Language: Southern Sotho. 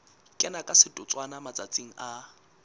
kena ka setotswana matsatsing a